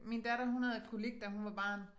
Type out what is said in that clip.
Min datter hun havde kolik da hun var barn